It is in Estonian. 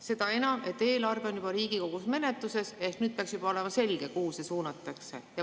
Seda enam, et eelarve on juba Riigikogus menetluses, peaks nüüd olema juba selge, kuhu see suunatakse.